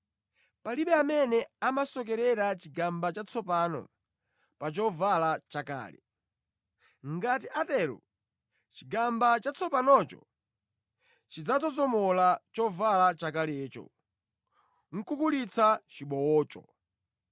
“Palibe amene amasokerera chigamba chatsopano pa chovala chakale. Ngati atatero, chigamba chatsopanocho chidzazomola chovala chakalecho, kukulitsa chibowocho.